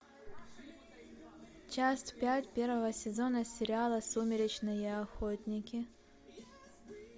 часть пять первого сезона сериала сумеречные охотники